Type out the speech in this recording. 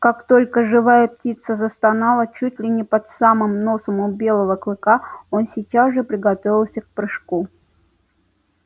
как только живая птица засновала чуть ли не под самым носом у белого клыка он сейчас же приготовился к прыжку